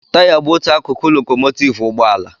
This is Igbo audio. Taya bụ otu akụkụ lokòmòtivú ụgbọ ala